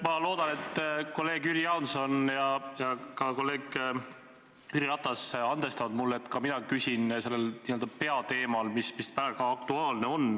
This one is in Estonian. Ma loodan, et kolleeg Jüri Jaanson ja ka kolleeg Jüri Ratas andestavad mulle, et ka mina küsin sellel peateemal, mis praegu aktuaalne.